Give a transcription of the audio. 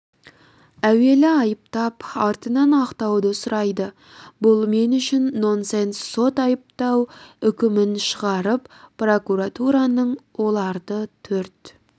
әуелі айыптап артынан ақтауды сұрайды бұл мен үшін нонсенс сот айыптау үкімін шығарып прокуратураның оларды төрт